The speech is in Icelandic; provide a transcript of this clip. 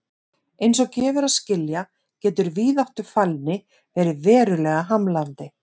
Eins og gefur að skilja getur víðáttufælni verið verulega hamlandi.